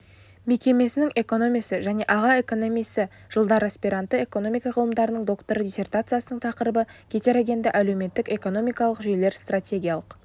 мекемесінің экономисі және аға экономисі жылдарыаспиранты экономика ғылымдарының докторы диссертациясының тақырыбы гетерогенді әлеуметтік-экономикалық жүйелер стратегиялық